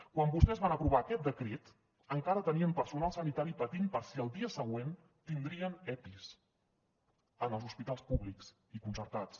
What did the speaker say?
quan vostès van aprovar aquest decret encara tenien personal sanitari patint per si el dia següent tindrien epis en els hospitals públics i concertats